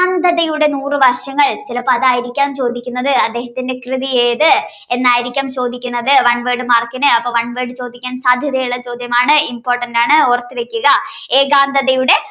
അന്ധതയുടെ നൂറു വർഷങ്ങൾ ചിലപ്പോൾ അതായിരിക്കആം ചോദിക്കുന്നത് അദ്ദേഹത്തിന്റെ കൃതി ഏത് എന്നായിരിക്കാം ചോദിക്കുന്നത് one word mark ഇനു അപ്പോ one word ചോദിക്കാൻ സാധ്യതയുള്ള ചോദ്യമാണ് important ആണ് ഓർത്തു വയ്ക്കുക